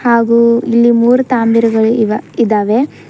ಹಾಗೂ ಇಲ್ಲಿ ಮೂರು ತಾಂಭೀರಗಳ ಇವ ಇದಾವೆ.